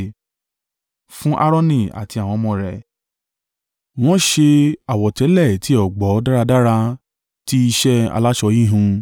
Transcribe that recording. Fún Aaroni àti àwọn ọmọ rẹ, wọ́n ṣe àwọ̀tẹ́lẹ̀ ti ọ̀gbọ̀ dáradára tí iṣẹ́ aláṣọ híhun.